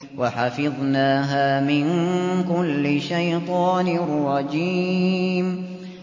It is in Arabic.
وَحَفِظْنَاهَا مِن كُلِّ شَيْطَانٍ رَّجِيمٍ